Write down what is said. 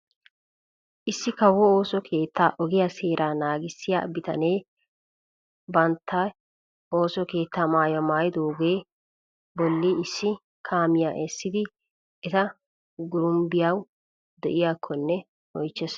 Issi kawo ooso keettaa ogiyaa seeraa naagissiyaa bitanee bantte ooso keettaa maayuwaa maayidogaa bolli issi kaamiyaa essisidi eta gurum"iyaabay de'iyaakkonne oychchees.